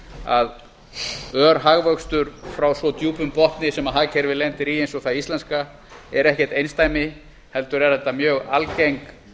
að ör hagvöxtur frá svo djúpum botni sem hagkerfið lendir í eins og það íslenska er ekkert einsdæmi heldur eru þetta mjög algeng